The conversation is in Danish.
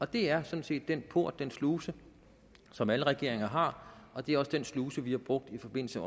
det er sådan set den port den sluse som alle regeringer har og det er også den sluse vi har brugt i forbindelse